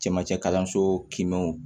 Cɛmancɛ kalanso kiinw